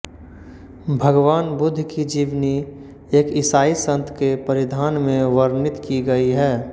भगवान बुद्ध की जीवनी एक ईसाई सन्त के परिधान में वर्णित की गई है